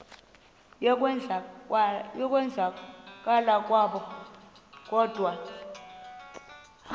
yokwenzakala kwabo kodwa